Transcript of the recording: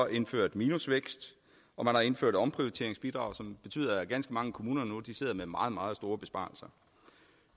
indført minusvækst og man har indført omprioriteringsbidrag som betyder at ganske mange kommuner nu sidder lave meget meget store besparelser